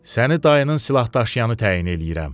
Səni dayının silahdaşıyanı təyin eləyirəm.